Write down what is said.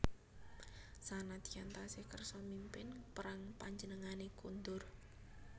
Sanadyan tasih kersa mimpin perang panjenengane kondur